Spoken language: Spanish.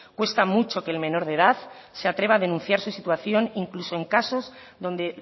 cuesta mucho que el menor de edad se atreva a denunciar su situación incluso en casos donde